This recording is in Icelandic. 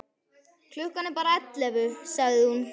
Klukkan er bara ellefu, sagði hún.